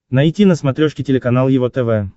найти на смотрешке телеканал его тв